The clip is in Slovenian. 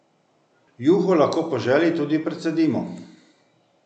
Juho lahko po želji tudi precedimo.